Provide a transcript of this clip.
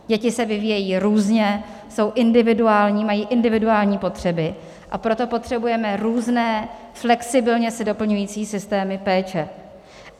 Děti se vyvíjejí různě, jsou individuální, mají individuální potřeby, a proto potřebujeme různé, flexibilně se doplňující systémy péče.